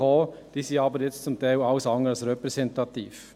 Diese sind aber zum Teil alles andere als repräsentativ.